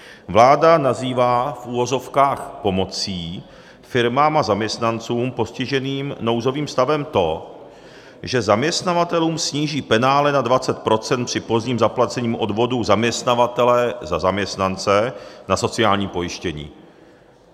Vláda nazývá v uvozovkách pomocí firmám a zaměstnancům postiženým nouzovým stavem to, že zaměstnavatelům sníží penále na 20 % při pozdním zaplacení odvodů zaměstnavatele za zaměstnance na sociální pojištění.